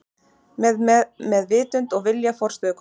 Með vitund og vilja forstöðukonunnar.